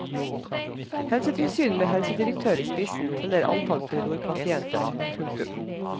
Helsetilsyn med helsedirektør i spissen teller antall korridorpasienter. punktum